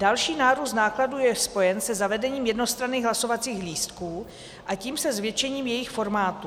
Další nárůst nákladů je spojen se zavedením jednostranných hlasovacích lístků, a tím se zvětšením jejich formátu.